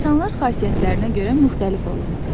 İnsanlar xasiyyətlərinə görə müxtəlif olurlar.